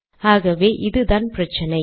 ஆகவே இதுதான் பிரச்சினை